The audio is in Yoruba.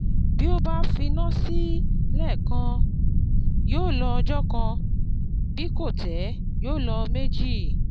Bí o bá finá sí lẹ́ẹ̀kan, yóò lo ọjọ́ kan; bí kò tẹ, yóò lo méjì.